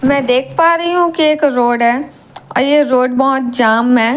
मैं देख पा रही हूं कि एक रोड है और यह रोड बहोत जाम में है।